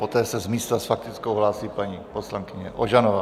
Poté se z místa s faktickou hlásí paní poslankyně Ožanová.